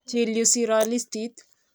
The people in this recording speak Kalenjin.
Chil yu siro listit.